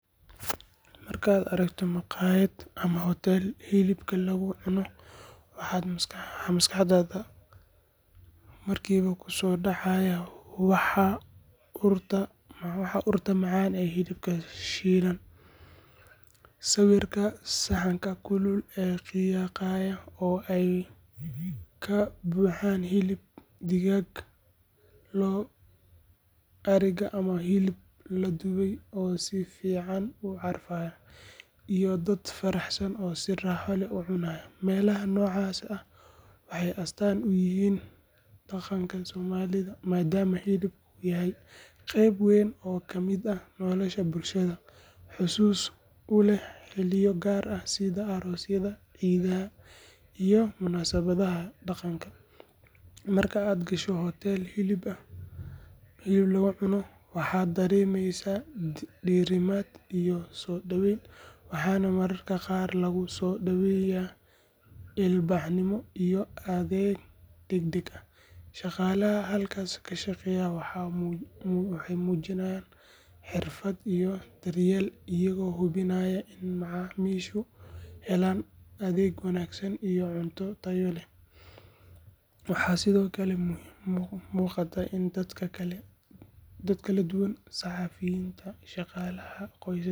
Markaad aragto maqaayad ama hotel hilib lagu cuno, waxa maskaxdaada markiiba ku soo dhacaya waa urta macaan ee hilibka shiilan, sawirka saxanka kulul ee qiiqaya oo ay ka buuxaan hilib digaag, lo’, ariga ama hilib la dubay oo si fiican u carfaya, iyo dad faraxsan oo si raaxo leh u cunaya. Meelaha noocaas ah waxay astaan u yihiin dhaqanka Soomaalida, maadaama hilibku yahay qayb weyn oo ka mid ah nolosha bulshada—xusuus u leh xilliyo gaar ah sida aroosyada, ciidaha, iyo munaasabadaha dhaqanka. Marka aad gasho hotel hilib lagu cuno, waxaad dareemaysaa diirimaad iyo soo dhoweyn, waxaana mararka qaar lagu soo dhoweeyaa ilbaxnimo iyo adeeg degdeg ah. Shaqaalaha halkaas ka shaqeeya waxay muujiyaan xirfad iyo daryeel, iyagoo hubinaya in macaamiishu helaan adeeg wanaagsan iyo cunto tayo leh. Waxaa sidoo kale muuqata in dadka kala duwan—saxaafiyiinta, shaqaalaha.